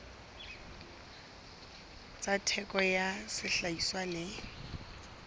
tsa theko ya sehlahiswa le